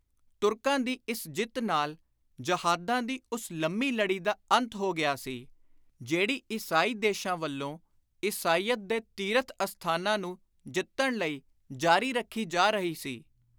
ਤੁਰਕਾਂ ਦੀ ਇਸ ਜਿੱਤ ਨਾਲ ਜਹਾਦਾਂ ਦੀ ਉਸ ਲੰਮੀ ਲੜੀ ਦਾ ਅੰਤ ਹੋ ਗਿਆ ਸੀ, ਜਿਹੜੀ ਈਸਾਈ ਦੇਸ਼ਾਂ ਵੱਲੋਂ ਈਸਾਈਅਤ ਦੇ ਤੀਰਥ ਅਸਥਾਨਾਂ ਨੂੰ ਜਿੱਤਣ ਲਈ ਜਾਰੀ ਰੱਖੀ ਜਾ ਰਹੀ ਸੀ।